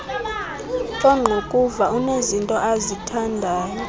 ongqukuva unezinto azithandayo